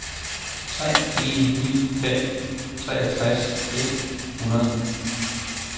tre en ni fem treogtres et hundrede